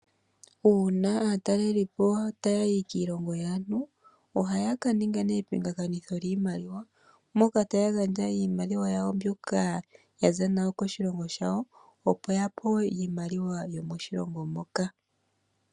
Aatalelipo taya yi kiilongo yaantu ohaya ka ninga nee epingakinitho lyiimaliwa moka taya gandja iimaliwa yawo mbyoka ya za nayo koshilongo shawo opo ya pewe iimaliwa yomoshilongo moka.